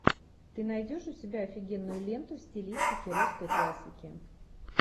ты найдешь у себя офигенную ленту в стилистике русской классики